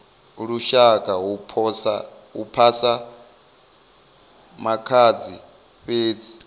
lushaka hu phasa makhadzi fhedzi